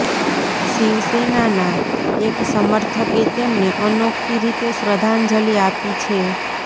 શિવસેનાના એક સમર્થકે તેમને અનોખી રીતે શ્રદ્ધાંજલિ આપી છે